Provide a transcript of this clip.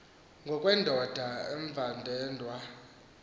ngokwendoda umvandedwa wakhe